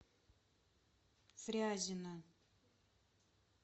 фрязино